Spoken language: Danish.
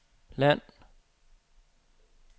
land